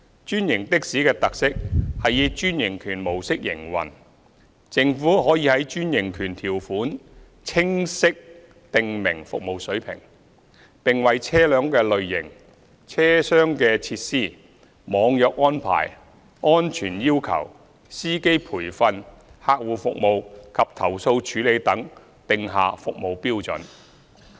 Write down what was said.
專營的士的特色是以專營權模式營運，政府可在專營權條款清晰訂明服務水平，並為車輛類型、車廂設施、"網約"安排、安全要求、司機培訓、客戶服務及投訴處理等定下服務標準。